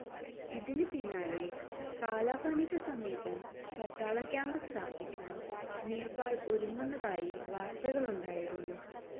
ഇതിന് പിന്നാലെ കാലാപാനിക്ക് സമീപം പട്ടാള ക്യാമ്പ് സ്ഥാപിക്കാന് നേപ്പാള് ഒരുങ്ങുന്നതായി വാര്ത്തകളുണ്ടായിരുന്നു